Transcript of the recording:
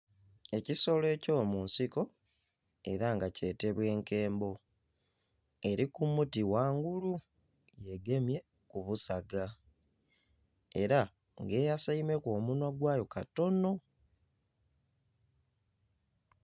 Ekisolo eky'omunsiko era nga kyetebwa enkembo. Eli ku muti ghangulu ng'egemye ku busaga. Era ng'eyasaimeku omunhwa gwayo katono..